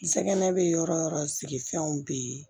Nsɛgɛnɛ bɛ yɔrɔ o yɔrɔ sigifɛnw bɛ yen